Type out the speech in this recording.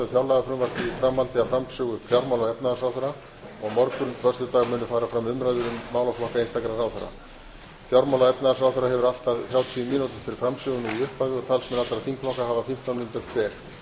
í framhaldi af framsögu fjármála og efnahagsráðherra og á morgun föstudag munu fara fram umræður um málaflokka einstakra ráðherra fjármála og efnahagsráðherra hefur allt að þrjátíu mínútur til framsögu nú í upphafi og talsmenn allra þingflokka hafa fimmtán mínútur hver